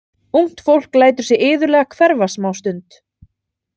Ungt fólk lætur sig iðulega hverfa smástund.